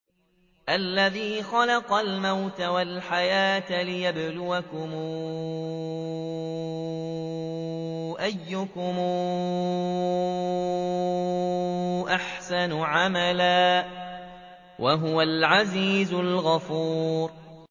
الَّذِي خَلَقَ الْمَوْتَ وَالْحَيَاةَ لِيَبْلُوَكُمْ أَيُّكُمْ أَحْسَنُ عَمَلًا ۚ وَهُوَ الْعَزِيزُ الْغَفُورُ